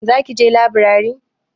Za ki je laburare?